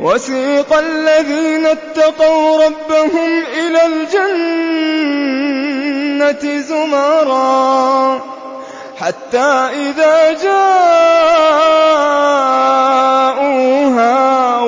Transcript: وَسِيقَ الَّذِينَ اتَّقَوْا رَبَّهُمْ إِلَى الْجَنَّةِ زُمَرًا ۖ حَتَّىٰ إِذَا جَاءُوهَا